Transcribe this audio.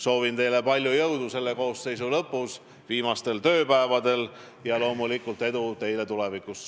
Soovin teile palju jõudu selle koosseisu viimastel tööpäevadel ja loomulikult edu teile tulevikus!